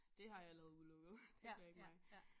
Det har jeg allerede udelukket det kan jeg ikke magte